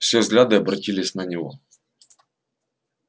все взгляды обратились на него